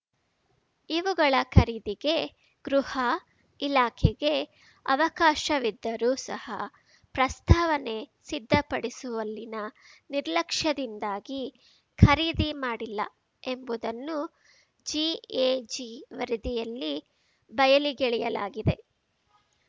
ಇವುಗಳ ಖರೀದಿಗೆ ಗೃಹ ಇಲಾಖೆಗೆ ಅವಕಾಶವಿದ್ದರೂ ಸಹ ಪ್ರಸ್ತಾವನೆ ಸಿದ್ಧಪಡಿಸುವಲ್ಲಿನ ನಿರ್ಲಕ್ಷ್ಯದಿಂದಾಗಿ ಖರೀದಿ ಮಾಡಿಲ್ಲ ಎಂಬುದನ್ನು ಜಿಎಜಿ ವರದಿಯಲ್ಲಿ ಬಯಲಿಗೆಳೆಯಲಾಗಿದೆ